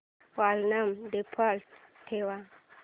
volume default ठेव